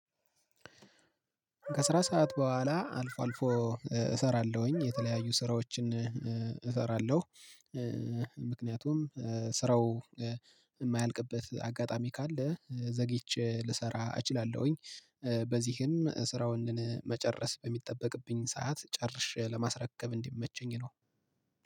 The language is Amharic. ከስራ ሰዓት በኋላ አልፎ አልፎ እሰራለሁኝ የተለያዩ ስራዎችን እሰራለሁ። ምክንያቱም ስራው የማያልቅበት አጋጣሚ ካለ ዘግይቼ ልሰራ እችላለሁኝ። በዚህም ስራውን መጨረስ በሚጠበቅብኝ ሰዓት ጨርሼ ለማስረከብ እንዲመቸኝ ነው